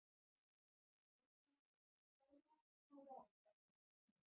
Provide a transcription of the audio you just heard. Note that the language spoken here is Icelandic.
En fyrst hann hafði heimtað þetta þá varð að taka því.